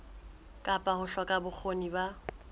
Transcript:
kapa ho hloka bokgoni ba